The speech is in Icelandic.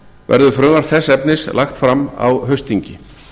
verður frumvarp þess efnis lagt fram á haustþingi